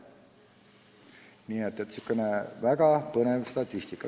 Nii et selline väga põnev statistika.